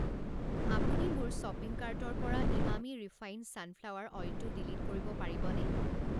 আপুনি মোৰ শ্বপিং কাৰ্টৰ পৰা ইমামী ৰিফাইণ্ড ছানফ্লাৱাৰ অইলটো ডিলিট কৰিব পাৰিবানে?